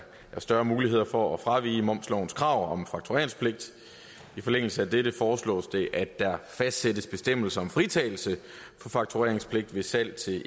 større muligheder for at fravige momslovens krav om faktureringspligt i forlængelse af dette foreslås det at der fastsættes bestemmelser om fritagelse for faktureringspligt ved salg til